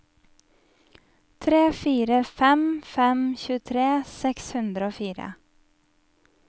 tre fire fem fem tjuetre seks hundre og fire